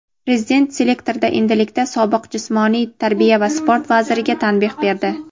Prezident selektorda endilikda sobiq Jismoniy tarbiya va sport vaziriga tanbeh berdi.